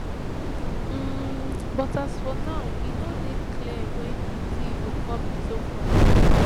um but as for now e no dey clear wen di deal go come into force